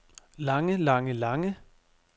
lange lange lange